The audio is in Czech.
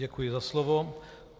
Děkuji za slovo.